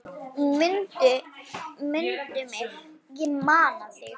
Mundu mig, ég man þig.